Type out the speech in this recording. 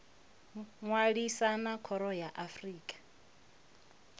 ṅwalisa na khoro ya afrika